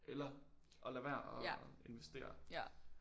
Eller at lade være at investere